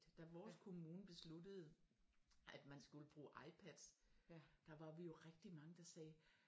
Da vores kommune besluttede at man skulle bruge iPads der var vi jo rigtig mange der sagde